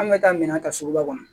An bɛ taa minan ta suguba kɔnɔ